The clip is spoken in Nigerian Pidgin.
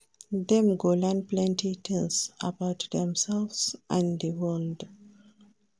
Dem go learn plenty tins about demselves and di world.